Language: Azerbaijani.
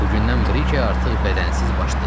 Bu gündən Briker artıq bədənsiz baş deyil.